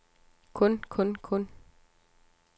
kun kun kun